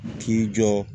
K'i jɔ